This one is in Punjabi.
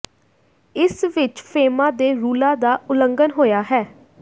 ਇਸ ਵਿਚ ਫੇਮਾ ਦੇ ਰੂਲਾਂ ਦਾ ਉਲੰਘਣ ਹੋਇਆ ਹੈ